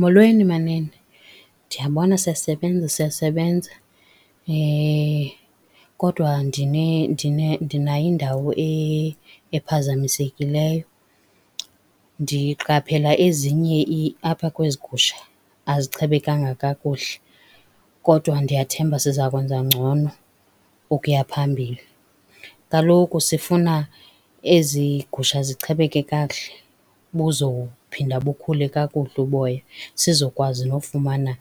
Molweni, manene. Ndiyabona siyasebenza, siyasebenza. Kodwa ndinayo indawo ephazamisekileyo. Ndiqaphela ezinye apha kwezi gusha azichebekanga kakuhle, kodwa ndiyathemba siza kwenza ngcono ukuya phambili. Kaloku sifuna ezi gusha zichebeke kakuhle buzawuphinda bukhule kakuhle uboya siza kwazi nofumana